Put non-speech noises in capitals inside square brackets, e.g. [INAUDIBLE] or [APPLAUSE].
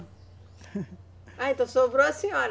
[LAUGHS] Ah, então sobrou a senhora.